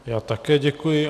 Já také děkuji.